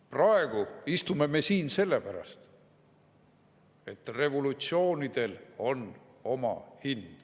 Praegu istume me siin selle pärast, et revolutsioonidel on oma hind.